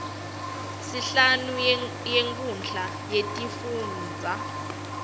sihlalo wemkhandlu wetifundza